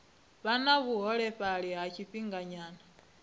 vha na vhuholefhali ha tshifhinganyana